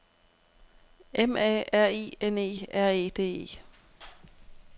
M A R I N E R E D E